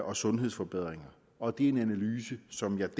og sundhedsforbedringer og det er en analyse som jeg